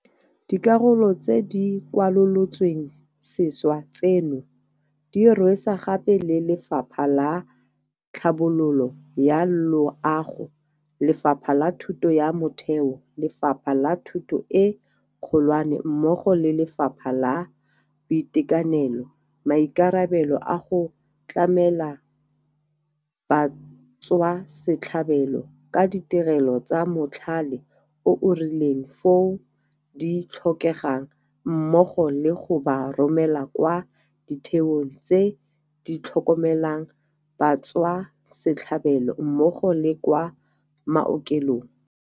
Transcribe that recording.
Dikarolo tse di kwalolotsweng sešwa tseno di rwesa gape le Lefapha la Tlhabololo ya Loago, Lefapha la Thuto ya Motheo, Lefapha la Thuto e Kgolwane mmogo le Lefapha la Boitekanelo maikarabelo a go tlamela batswasetlhabelo ka ditirelo tsa mothale o o rileng foo di tlhokegang mmogo le go ba romela kwa ditheong tse ditlhokomelang batswasetlhabelo mmogo le kwa maokelong.